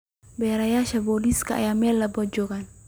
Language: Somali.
Baarayaasha booliiska ayaa meel walba jooga.